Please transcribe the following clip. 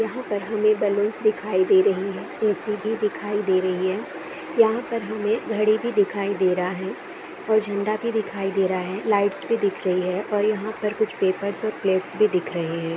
यहां पर हमें बलून्स दिखाई दे रही है ऐ.सी भी दिखाई दे रही है। यहां पर हमें घड़ी भी दिखाई दे रहा है और झंडा भी दिखाई दे रहा है लाइट्स भी दिख रही है और यहां पर कुछ पेपर्स और प्लेट्स भी दिख रहे हैं।